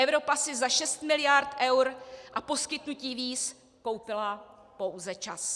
Evropa si za 6 mld. eur a poskytnutí víz koupila pouze čas.